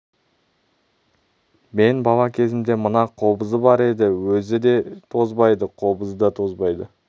мен бала кезімде мына қобызы бар еді өзі де тозбайды қобызы да тозбайды